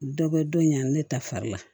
Dɔ bɛ don in na ne ta fari la